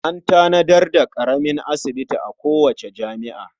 An tanadar daƙaramin asibiti a kowace jami'a.